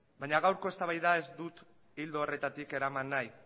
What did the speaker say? baina gaurko eztabaida ez dut ildo horretatik eraman nahi